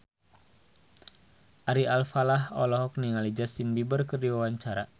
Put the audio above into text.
Ari Alfalah olohok ningali Justin Beiber keur diwawancara